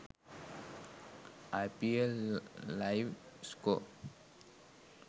ipl live score